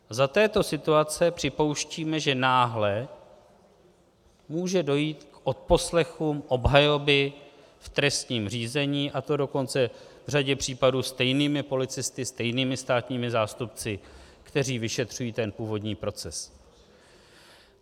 Za této situace připouštíme, že náhle může dojít k odposlechům obhajoby v trestním řízení, a to dokonce v řadě případů stejnými policisty, stejnými státními zástupci, kteří vyšetřují ten původní proces.